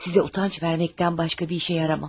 Sizə utanc verməkdən başqa bir işə yaramam.